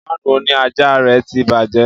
Fáànù òní àjà rẹ̀ tí bàjẹ́